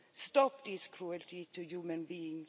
Stop this cruelty to human beings.